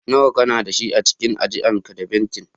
Nawa kana da shi a cikin ajian ka da bankin?